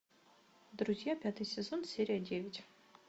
друзья пятый сезон серия девять